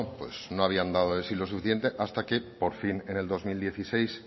no habían dado el sí lo suficiente hasta que por fin en el dos mil dieciséis